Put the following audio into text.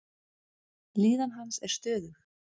Líðan hans er stöðug.